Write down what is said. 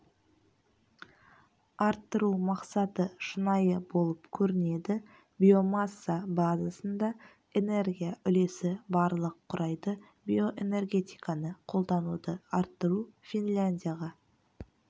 арттыру мақсаты шынайы болып көрінеді биомасса базасында энергия үлесі барлық құрайды биоэнергетиканы қолдануды арттыру финляндияға